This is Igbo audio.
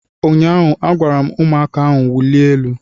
Ụnyaahụ agwara ụmụaka ahụ wuliewe elu!